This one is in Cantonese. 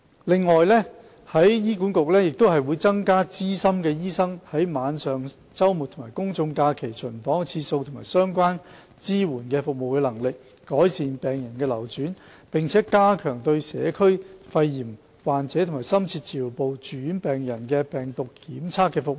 另外，醫管局亦會增加資深醫生在晚上、周末及公眾假期的巡房次數及相關支援服務的能力，以改善病人流轉，並加強對社區肺炎患者及深切治療部住院病人的病毒檢測服務。